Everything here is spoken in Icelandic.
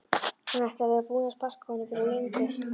Hún ætti að vera búin að sparka honum fyrir löngu